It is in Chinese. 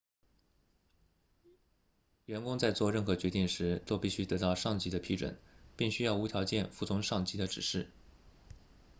员工在做任何决定时都必须得到上级的批准并需要无条件服从上级的指示